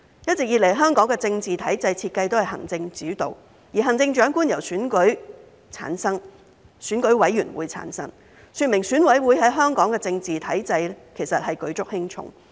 一直以來，香港的政治體制設計都是行政主導，行政長官由選舉委員會產生，說明選委會在香港政治體制舉足輕重。